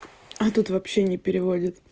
а этот вообще не переводит